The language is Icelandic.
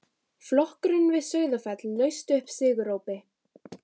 Flokkurinn við Sauðafell laust upp sigurópi.